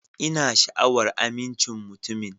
Ina sha'awar amincin mutumin.